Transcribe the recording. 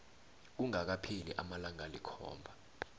kungakapheli amalanga alikhomba